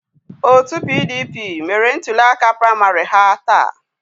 Otu PDP mere ntuliaka praịmarị ha taa.